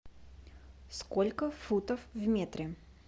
сколько футов в метре